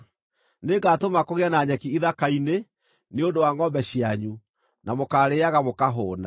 Nĩngatũma kũgĩe na nyeki ithaka-inĩ nĩ ũndũ wa ngʼombe cianyu, na mũkarĩĩaga mũkahũũna.